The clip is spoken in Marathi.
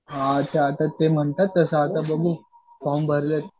हां असं आता म्हणतायेत तसं पण बघू फॉर्म भरलेत.